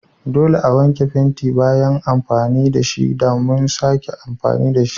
Dole a wanke fenti bayan amfani da shi domin a sake amfani da shi.